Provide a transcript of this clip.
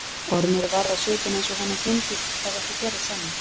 Ormur varð á svipinn eins og honum fyndist það ekki fjarri sanni.